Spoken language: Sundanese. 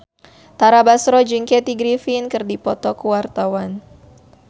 Tara Basro jeung Kathy Griffin keur dipoto ku wartawan